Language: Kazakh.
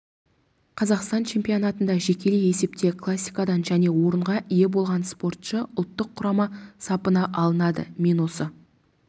қазақстан чемпионатында жекелей есепте классикадан және орынға ие болған спортшы ұлттық құрама сапына алынады мен осы